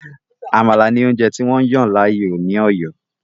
“Àmàlà” ni oúnjẹ tí wọ́n yàn láàyò ní Òyó.